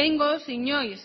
behingoz inoiz